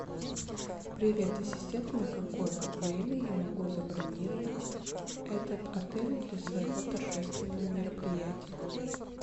привет ассистент на какое время я могу забронировать этот отель для своего торжественного мероприятия